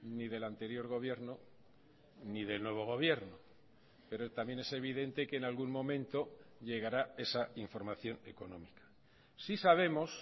ni del anterior gobierno ni del nuevo gobierno pero también es evidente que en algún momento llegará esa información económica sí sabemos